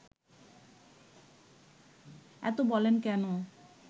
এত বলেন কেন